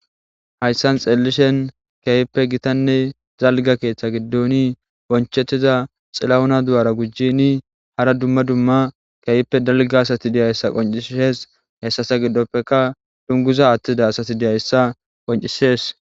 hayssan xeelishen keeyppe gitanne zalga keeththa giddoni bonchettiza xilahuna du7ara gujjini hara dumma dumma keeyippe dalga asati diyayssa qoncisees hessasa giddoppeka dunguza attida asati diyayssa qoncisees